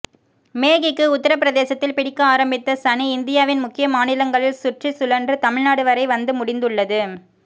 மேகிக்கு உத்தரபிரதேசத்தில் பிடிக்க ஆரம்பித்த சனி இந்தியாவின் முக்கிய மாநிலங்களில் சுற்றிச்சுழன்று தமிழ்நாடு வரை வந்து முடிந்துள்ளது